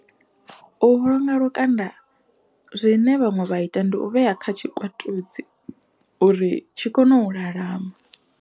U vhulunga lukanda zwine vhaṅwe vha ita ndi u vhea kha tshikwatudzi uri tshi kone u lalama.